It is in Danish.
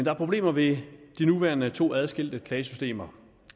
er problemer ved de nuværende to adskilte klagesystemer